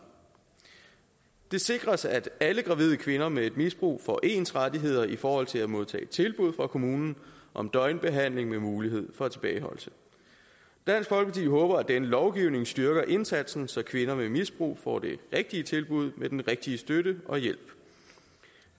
det sikres at alle gravide kvinder med et misbrug får ens rettigheder i forhold til at modtage et tilbud fra kommunen om døgnbehandling med mulighed for tilbageholdelse dansk folkeparti håber at denne lovgivning styrker indsatsen så kvinder med et misbrug får det rigtige tilbud med den rigtige støtte og hjælp